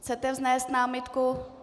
Chcete vznést námitku?